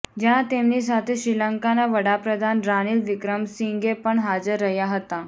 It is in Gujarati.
જ્યાં તેમની સાથે શ્રીલંકાના વડાપ્રધાન રાનિલ વિક્રમસિંઘે પણ હાજર રહ્યા હતા